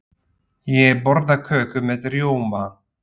Ég borða köku með rjóma.